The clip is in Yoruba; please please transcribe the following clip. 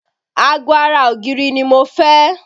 Ago ara ògiri ni mo fẹ́